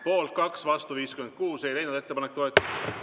Poolt 2 ja vastu 56, ettepanek ei leidnud toetust.